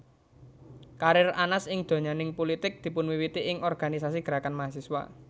Karir Anas ing donyaning pulitik dipunwiwiti ing organisasi gerakan mahasiswa